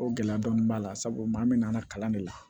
O gɛlɛya dɔɔni b'a la sabu maa min nana kalan de la